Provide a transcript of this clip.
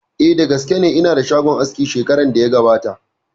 Eh, da gaske ne, ina da shagon aski shekaran da ya gabata